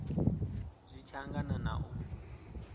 zwi tshi angana na u